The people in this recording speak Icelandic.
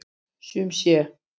Sum sé.